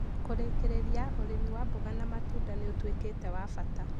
Kũrĩkĩrĩria, ũrĩmi wa mboga na matunda nĩ cekita ya bata